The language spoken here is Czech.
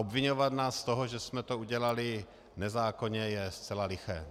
Obviňovat nás z toho, že jsme to udělali nezákonně, je zcela liché.